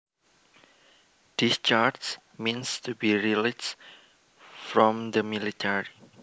Discharge means to be released from the military